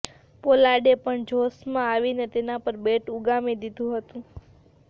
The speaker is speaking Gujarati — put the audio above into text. પોલાર્ડે પણ જોશમાં આવીને તેના પર બૅટ ઉગામી દીધું હતું